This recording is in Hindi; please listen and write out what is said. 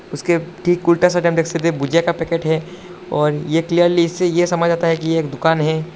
उसके ठीक उल्टा साइड आप देख सकते है भुजिया का पैकेट है और यह क्लीयरली इससे यह समझ आता है कि ये एक दुकान है।